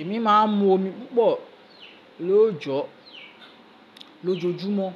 Èmi máa ń mu omi púpọ̀ lóòjó, lójoójúmọ́.